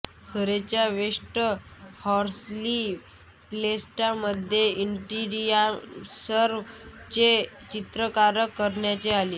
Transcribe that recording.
सरेच्या West Horsley प्लेसमध्ये इंटिरियर्सचे चित्रीकरण करण्यात आले